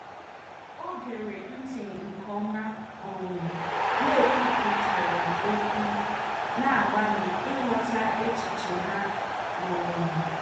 O gere ntị nke ọma um n'ekwupụtaghị okwu, na-agbalị ịghọta echiche ha. um